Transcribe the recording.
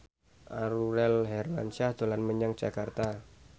Aurel Hermansyah dolan menyang Jakarta